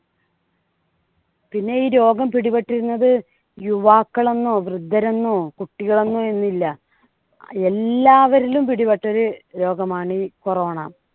പിന്നെ ഈ രോഗം പിടിപെട്ടിരുന്നത് യുവാക്കൾ എന്നോ വൃദ്ധരെന്നോ കുട്ടികൾ എന്നോ എന്നില്ല. എല്ലാവരിലും പിടിപെട്ടൊരു രോഗമാണ് ഈ corona